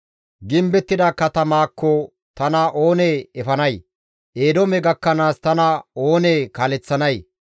Gimbettida katamaakko tana oonee efanay? Eedoome gakkanaas tana oonee kaaleththanay?